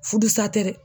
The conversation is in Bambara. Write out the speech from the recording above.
Furu sa tɛ dɛ